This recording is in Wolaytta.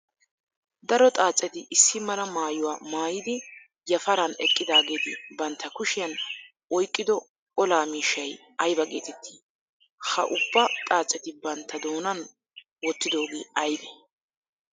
Daro xaacetti issi mala maayuwaa maayidi yafaran eqqidaagetti bantta kushiyan oyqqido olaa miishshay aybba geetetti? Ha ubba xaaceti bantta doonan wotiddoge aybbe?